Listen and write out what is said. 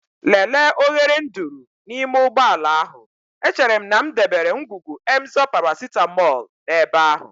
Lelee oghere nduru n'ime ụgbọ ala ahụ, echere m na m debere ngwugwu Emzor paracetamol n'ebe ahụ.